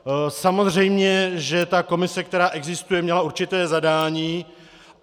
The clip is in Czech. Samozřejmě, že ta komise, která existuje, měla určité zadání.